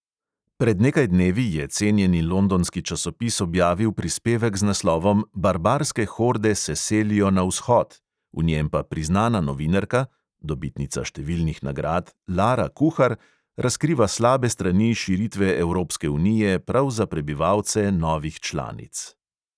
Pred nekaj dnevi je cenjeni londonski časopis objavil prispevek z naslovom barbarske horde se selijo na vzhod, v njem pa priznana novinarka (dobitnica številnih nagrad) lara kuhar razkriva slabe strani širitve evropske unije prav za prebivalce novih članic.